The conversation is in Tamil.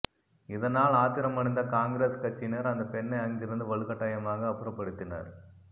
இதனால் ஆத்திரம் அடைந்த காங்கிரஸ் கட்சியினர் அந்த பெண்ணை அங்கிருந்து வலுக்கட்டாயமாக அப்புறப்படுத்தினர்